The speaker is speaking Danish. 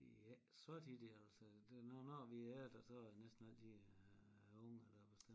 Det er æ så tit i altså det når når vi er der så er det næsten altid øh æ unger der bestemmer